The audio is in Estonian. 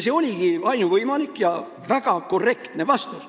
See oligi ainuvõimalik ja väga korrektne vastus.